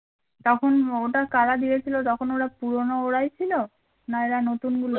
তখন ওটা কারা দিয়েছিল তখন ওরা পুরনো ওরাই ছিল না এরা নতুনগুলো